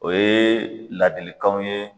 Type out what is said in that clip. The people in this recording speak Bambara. O ye ladilikanw ye.